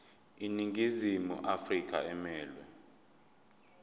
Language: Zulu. iningizimu afrika emelwe